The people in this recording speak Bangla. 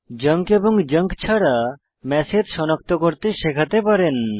জাঙ্ক এবং জাঙ্ক ছাড়া ম্যাসেজ সনাক্ত করতে শেখাতে পারেন